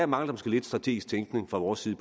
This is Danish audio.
mangler lidt strategisk tænkning fra vores side